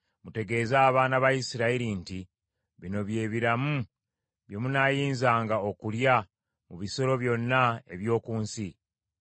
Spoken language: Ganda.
“Mutegeeze abaana ba Isirayiri nti bino bye biramu bye munaayinzanga okulya mu bisolo byonna eby’oku nsi.